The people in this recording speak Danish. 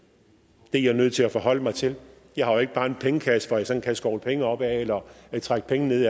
det er jeg nødt til at forholde mig til jeg har jo ikke bare en pengekasse som jeg sådan kan skovle penge op af eller kan trække penge ned